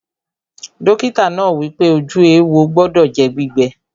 Dọ́kítà náà wípé, ojú éwo gbọdọ̀ jẹ́ gbígbẹ